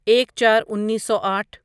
ایک چار انیسو آٹھ